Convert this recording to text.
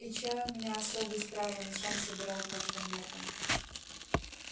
и чай у меня особый с травами сам собирал прошлым летом